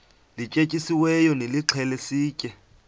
lityetyisiweyo nilixhele sitye